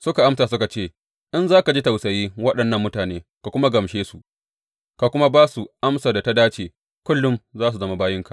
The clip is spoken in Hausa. Suka amsa suka ce, In za ka ji tausayi waɗannan mutane ka kuma gamshe su, ka kuma ba su amsar da ta dace, kullum za su zama bayinka.